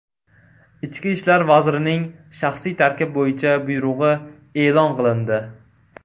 Ichki ishlar vazirining shaxsiy tarkib bo‘yicha buyrug‘i e’lon qilindi.